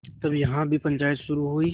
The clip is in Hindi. तब यहाँ भी पंचायत शुरू हुई